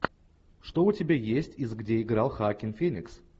что у тебя есть из где играл хоакин феникс